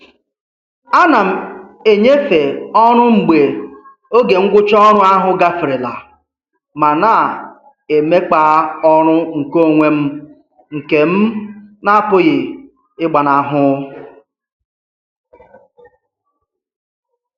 A na m enyefe ọrụ mgbe oge ngwụcha ọrụ ahụ gaferela ma na-emekpa ọrụ nkeonwe m nke m n'apụghị ịgbanahụ.